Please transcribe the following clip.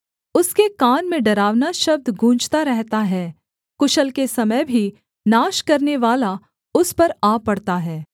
उसके कान में डरावना शब्द गूँजता रहता है कुशल के समय भी नाश करनेवाला उस पर आ पड़ता है